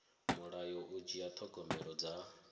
mulayo u dzhia thogomelo dza